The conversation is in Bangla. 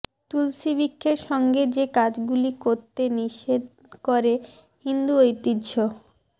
তুলসী বৃক্ষের সঙ্গে যে কাজগুলি করতে নিষেধ করে হিন্দু ঐতিহ্য